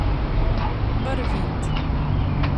Barvit.